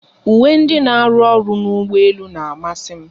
Uwe ndị n'aru ọrụ n'ụgbọelu n'amasi m